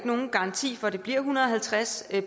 nogen garanti for at det bliver en hundrede og halvtreds